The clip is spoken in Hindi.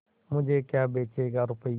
मुझे क्या बेचेगा रुपय्या